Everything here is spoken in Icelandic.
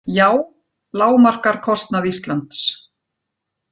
JÁ lágmarkar kostnað Íslands